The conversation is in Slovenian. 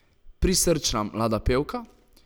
Prisrčna mlada pevka?